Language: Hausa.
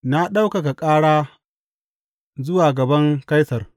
Na ɗaukaka ƙara zuwa gaban Kaisar!